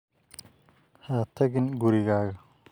Ha tagin gurigaaga